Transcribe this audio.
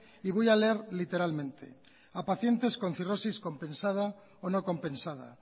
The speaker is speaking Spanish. y voy a leer literalmente a pacientes con cirrosis compensada o no compensada